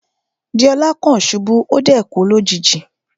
Deola kan ṣubu, o dẹ̀ kú lójijì.